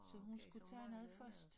Så hun skulle tage noget først